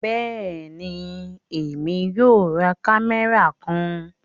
Bẹẹni, Èmi yóò rá kámẹ́rà kàn